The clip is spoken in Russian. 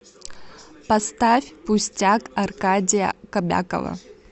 поставь пустяк аркадия кобякова